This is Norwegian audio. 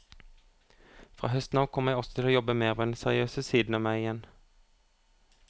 Fra høsten av kommer jeg også til å jobbe mer med den seriøse siden av meg igjen.